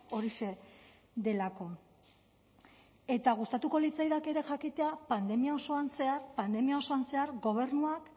horixe delako eta gustatuko litzaidake ere jakitea pandemia osoan zehar pandemia osoan zehar gobernuak